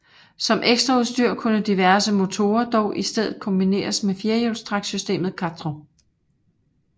Som ekstraudstyr kunne diverse motorer dog i stedet kombineres med firehjulstræksystemet quattro